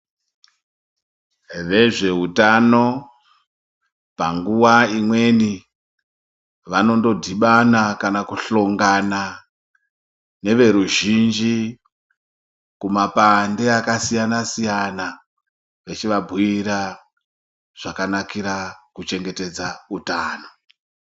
Vezveutano panguwa imweni vanodhibana kana kuhlongana neve ruzhinji kumapande akasiyana siyana vechivabhuira zvakanakira kuchengetedza utano.